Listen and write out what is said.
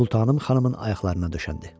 Sultanım xanımın ayaqlarına düşəndi.